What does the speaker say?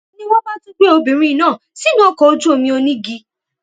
ni wọn bá tún gbé obìnrin náà sínú ọkọ ojú omi onígi